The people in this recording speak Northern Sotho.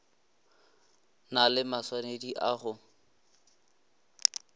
na le maswanedi a go